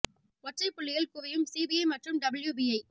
ஒற்றைப் புள்ளியில் குவியும் சி பி ஐ மற்றும் டபிள்யு பி ஐ